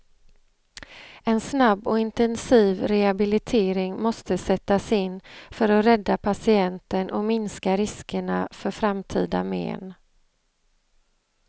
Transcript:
En snabb och intensiv rehabilitering måste sättas in för att rädda patienten och minska riskerna för framtida men.